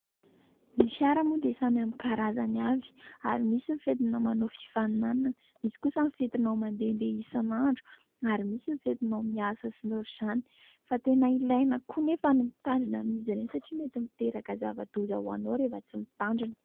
Ny fiara moa dia samy amin'ny karazany avy ary misy ny fentina manao fifaninana, misy kosa ny fentinao mandehandeha isan'andro ary misy ny fentinao miasa sy ny ohatran'izany. Fa tena ilaina koa nefa ny mitandrina amin'izy reny satria mety miteraka zava-doza ho anao rehefa tsy mitandrina.